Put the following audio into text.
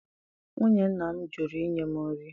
Nwunye nna m jụrụ inye m nri.